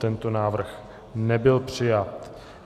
Tento návrh nebyl přijat.